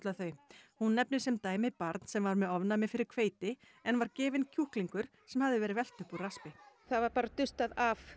þau hún nefnir sem dæmi barn sem var með ofnæmi fyrir hveiti en var gefinn kjúklingur sem hafði verið velt upp úr raspi það var bara dustað af